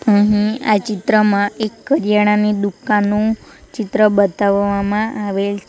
અહીં આ ચિત્રમાં એક કર્યાણાની દુકાનનું ચિત્ર બતાવવામાં આવેલ છ્--